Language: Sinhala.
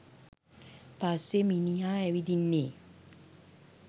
පස්සේ මිනිහා ඇවිදින්නේ.